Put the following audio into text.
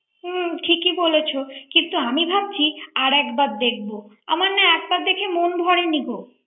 হ্যাঁ ঠিকই বলেছ আমি ভাবছি আর একবার দেখব আমার না একবার দেখে মন ভরে নি গো